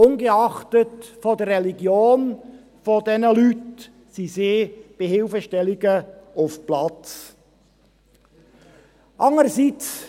Ungeachtet der Religion der Betroffenen sind sie auf dem Platz, um Hilfe zu leisten.